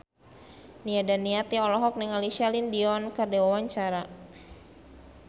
Nia Daniati olohok ningali Celine Dion keur diwawancara